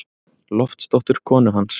Loftsdóttur, konu hans.